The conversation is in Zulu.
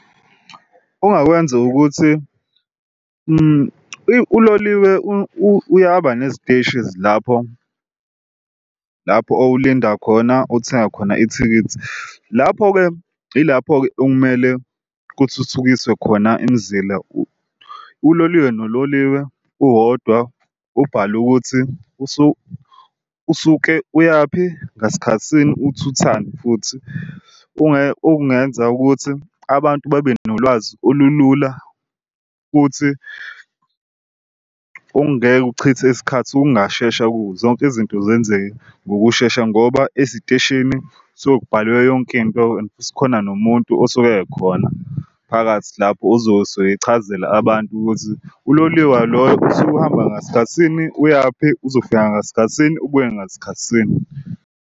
Ongakwenza ukuthi uloliwe uyaba neziteshi ezilapho lapho owulinda khona othenga khona ithikithi. Lapho-ke yilapho-ke okumele kuthuthukiswe khona imizila, uloliwe nololiwe uwodwa ubhale ukuthi usuke uyaphi ngasikhathisini uthuthani futhi. Okungenza ukuthi abantu babe nolwazi olulula futhi ongeke uchithe isikhathi okungashesha kuzo zonke izinto zenzeka ngokushesha ngoba eziteshini suke kubhalwe yonke into and futhi khona nomuntu osuke ekhona phakathi lapho ozosuke echazela abantu ukuthi uloliwe loyo usuke uhamba ngasikhathisini, uyaphi, uzofika ngasikhathisini ubuye ngasikhathisini.